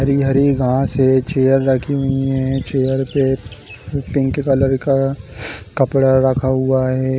हरी - हरी घास है चेयर रखी हुई है चेयर पे पिंक कलर का कपड़ा रखा हुआ है।